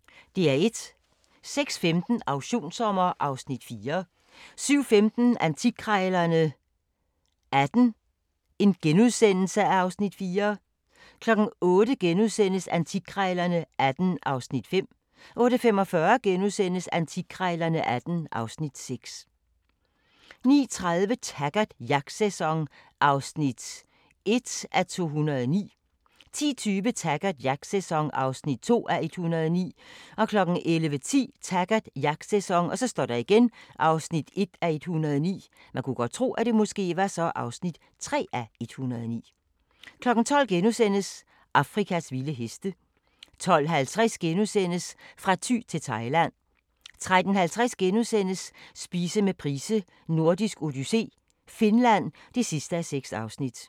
06:15: Auktionssommer (Afs. 4) 07:15: Antikkrejlerne XVIII (Afs. 4)* 08:00: Antikkrejlerne XVIII (Afs. 5)* 08:45: Antikkrejlerne XVIII (Afs. 6)* 09:30: Taggart: Jagtsæson (1:109) 10:20: Taggart: Jagtsæson (2:109) 11:10: Taggart: Jagtsæson (1:109) 12:00: Afrikas vilde heste * 12:50: Fra Thy til Thailand * 13:50: Spise med Price: Nordisk Odyssé - Finland (6:6)*